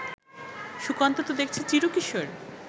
সুকান্ত তো দেখছি চিরকিশোর